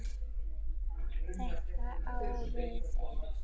Þetta á við ef